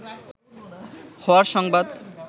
হওয়ার সংবাদ